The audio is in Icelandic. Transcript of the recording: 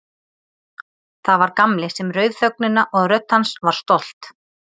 Það var Gamli sem rauf þögnina og rödd hans var stolt.